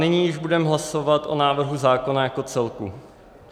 Nyní již budeme hlasovat o návrhu zákona jako celku.